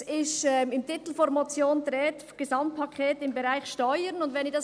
Es ist im Titel der Motion von einem «Gesamtpaket im Bereich Steuern» die Rede.